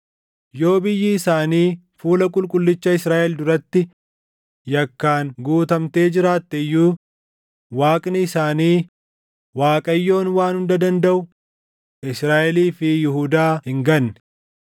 Yoo biyyi isaanii fuula Qulqullicha Israaʼel duratti yakkaan guutamtee jiraatte iyyuu Waaqni isaanii, Waaqayyoon Waan Hunda Dandaʼu Israaʼelii fi Yihuudaa hin ganne.